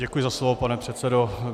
Děkuji za slovo, pane předsedo.